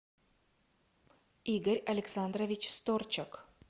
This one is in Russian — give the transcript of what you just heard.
игорь александрович сторчак